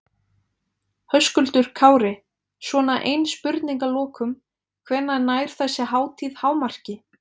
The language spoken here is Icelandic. Höskuldur Kári: Svona ein spurning að lokum, hvenær nær þessi hátíð hámarki?